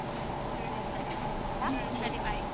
ಹ್ಮ್ ಸರಿ bye.